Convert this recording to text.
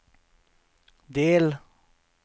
del